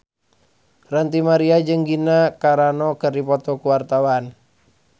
Ranty Maria jeung Gina Carano keur dipoto ku wartawan